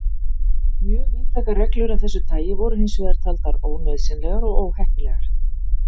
Mjög víðtækar reglur af þessu tagi voru hins vegar taldar ónauðsynlegar og óheppilegar.